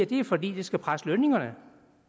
det er fordi det skal presse lønningerne